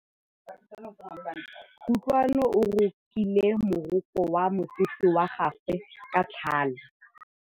Kutlwanô o rokile morokô wa mosese wa gagwe ka tlhale.